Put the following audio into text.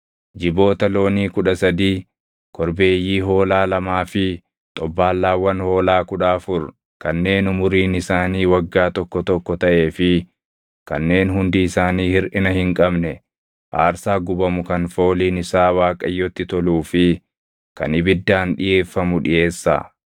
Jiboota loonii kudha sadii, korbeeyyii hoolaa lamaa fi xobbaallaawwan hoolaa kudha afur kanneen umuriin isaanii waggaa tokko tokko taʼee fi kanneen hundi isaanii hirʼina hin qabne aarsaa gubamu kan fooliin isaa Waaqayyotti toluu fi kan ibiddaan dhiʼeeffamu dhiʼeessaa.